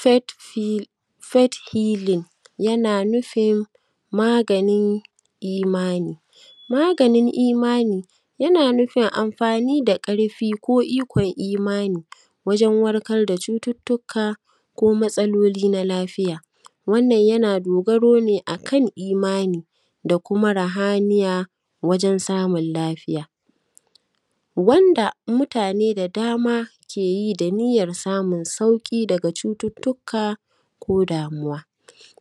Faith fill faith hiling, yana nufin maganin imani. yana nufin maganin imani. wajen warkar da cututtuka ko matsaloli na lafiya. Wannan yana dogaro ne a kan imani, da kuma rahaniya, wajen samun lafiya. Wanda mutane da dama mutane key i da niyyar samun sauƙi daga cututtuka ko damuwa.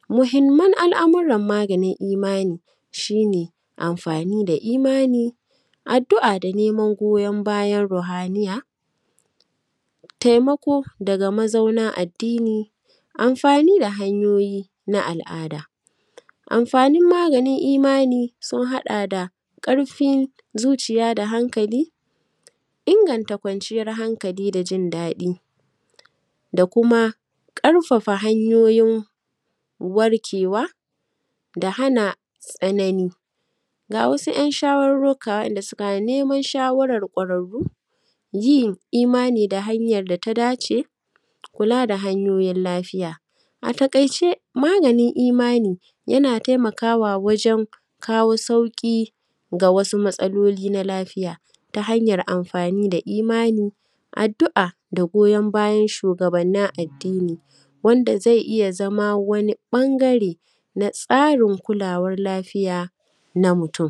Muhimman al’amuran maganin imani, shi ne amfani da imani, addu’a da neaman goyan bayan rohaniya, taimako daga mazauna addini, amfani da hanyoyi na al’ada. Amfanin maganin imani sun haɗa da ƙarfin zuciya da hankali, inganta kwanciyar hankali da jin daɗi, da kuma ƙarfafa hanyoyin warkewa da hana tsanani. Ga wasu ‘yan shawarruka waɗanda suka haɗa da neman shawarar ƙwararru, yin imani da hanyar da ta dace. Kula da hanyoyin lafiya. A taƙaice maganin imani yana taimakawa wajen kawo sauƙi ga wasu matsaloli na lafiaya. Ta hanyar amfani da imani, addu’a da goyan bayan shugabannin addini, wanda zai iya zama wani ɓangare na tsarin kulawar lafiya na mutum.